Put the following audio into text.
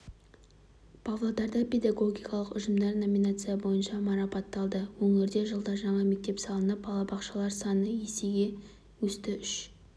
павлодарда педагогикалық ұжымдар номинация бойынша марапатталды өңірде жылда жаңа мектеп салынып балабақшалар саны есеге өсті үш